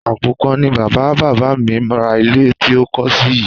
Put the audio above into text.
Àpò kan ni bàbá bàbà mi ra ilé tí a kólé sí yìí